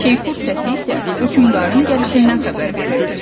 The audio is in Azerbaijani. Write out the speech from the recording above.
Şeypur səsi isə hökmdarın gəlişindən xəbər verirdi.